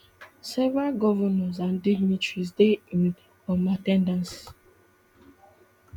several govnors and dignitaries dey in um at ten dance